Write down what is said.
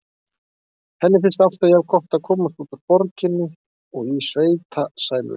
Henni finnst alltaf jafngott að komast út úr borginni og í sveitasæluna.